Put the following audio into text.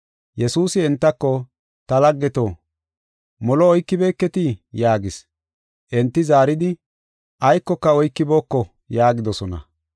Yesuusi entako, “Ta laggeto, molo oykibeeketii?” yaagis. Enti zaaridi, “Aykoka oykibooko” yaagidosona.